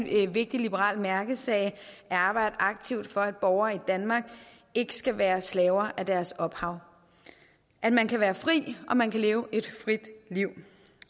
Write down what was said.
er en vigtig liberal mærkesag at arbejde aktivt for at borgere i danmark ikke skal være slaver af deres ophav at man kan være fri og at man kan leve et frit liv